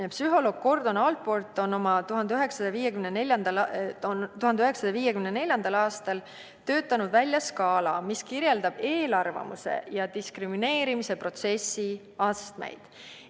Psühholoog Gordon Allport on 1954. aastal töötanud välja skaala, mis kirjeldab eelarvamuste ja diskrimineerimise protsessi astmeid.